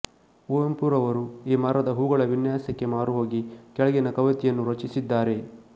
ಕುವೆಂಪುರರವರು ಈ ಮರದ ಹೂಗಳ ವಿನ್ಯಾಸಕ್ಕೆ ಮಾರುಹೋಗಿ ಕೆಳಗಿನ ಕವಿತೆಯನ್ನು ರಚಿಸಿದ್ದಾರೆ